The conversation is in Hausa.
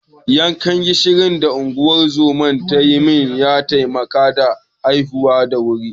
Yankan gishirin da da unguwar zoman ta yi min ya taimaka na haihu da wuri.